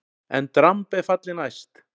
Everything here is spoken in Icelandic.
EN DRAMB ER FALLI NÆST!